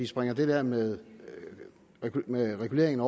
springer det der med med reguleringen